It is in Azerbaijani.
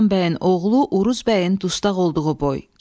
Qazan bəyin oğlu Uruz bəyin dustaq olduğu boy.